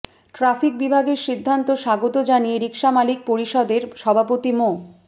traffic বিভাগের সিদ্ধান্ত স্বাগত জানিয়ে রিকশা মালিক পরিষদের সভাপতি মো